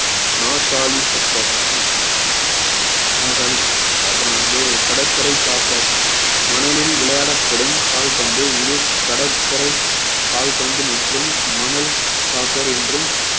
நாற்காலி soccer நாற்காலி soc~ அப்புறம் வந்து கடற்கரை soccer மணலில் விளையாடப்படும் கால்பந்து இது கடற்கரை கால்பந்து மற்றும் மணல் soccer என்றும்